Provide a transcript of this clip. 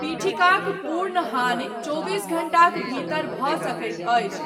पीठिकाक पूर्ण हानि चौबीस घण्टाक भीतर भऽ सकैत अछि।